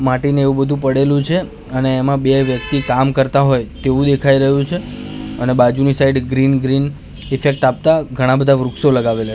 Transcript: માટીને એવું બધું પડેલું છે અને એમાં બે વ્યક્તિ કામ કરતા હોય તેવું દેખાઈ રહ્યું છે અને બાજુની સાઈડ ગ્રીન ગ્રીન ઈફેક્ટ આપતા ઘણા બધા વૃક્ષો લગાવેલા--